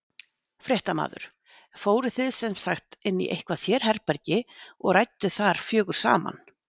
Fréttamaður: Fóruð þið sem sagt inn í eitthvað sérherbergi og rædduð þar fjögur saman?